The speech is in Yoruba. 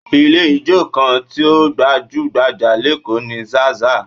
Ilé ijó kan tí ó gbajú-gbajà lékòó ni Zaza